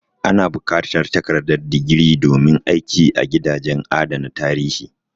A na buƙatar takardar digiri domin aiki a gidajen adana tarihi?